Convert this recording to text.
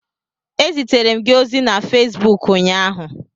Ezitere m gị ozi na Fesbuk ụnyaahụ